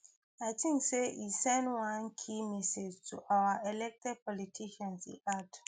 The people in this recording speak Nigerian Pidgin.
i think say e send one key message to our elected politicians e add